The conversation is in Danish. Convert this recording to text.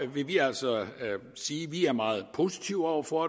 vi altså sige at vi er meget positive over for